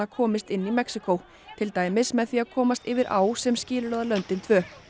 komist inn í Mexíkó til dæmis með því að komast yfir á sem skilur að löndin tvö